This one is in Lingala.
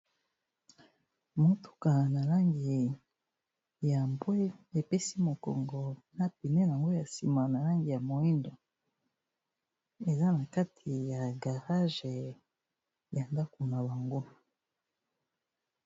Motuka na langi ya mbwe, e pesi mokongo na pneu na mbwe ya sima na langi ya moyindo, eza na kati ya garage ya ndaku na bango .